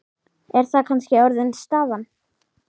Er það kannski orðin staðan?